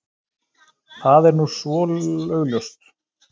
Það er nú svo augljóst.